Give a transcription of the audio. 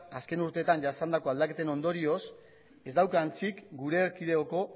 azken urteetan jasandako aldaketen ondorioz ez dauka antzik gure erkidegoko